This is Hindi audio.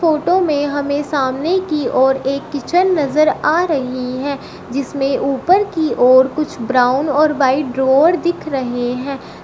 फोटो में हमें सामने की ओर एक किचन नजर आ रही है जिसमें ऊपर की ओर कुछ ब्राउन और व्हाइट ड्रोवर दिख रहे हैं।